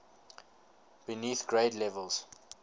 beneath grade levels